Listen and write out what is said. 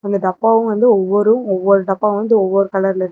இந்த டப்பாவும் வந்து ஒவ்வொரு ஒவ்வொரு டப்பாவும் வந்து ஒவ்வொரு கலர்ல இருக்.